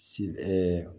Si